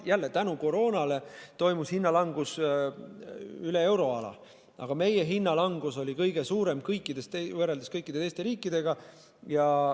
Jah, koroona tõttu toimus hinnalangus kogu euroalal, aga meie hinnalangus oli kõige suurem võrreldes kõikide teiste riikidega.